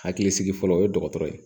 Hakilisigi fɔlɔ o ye dɔgɔtɔrɔ ye